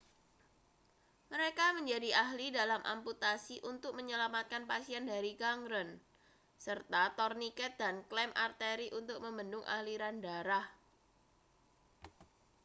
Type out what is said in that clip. mereka menjadi ahli dalam amputasi untuk menyelamatkan pasien dari gangren serta torniket dan klem arteri untuk membendung aliran darah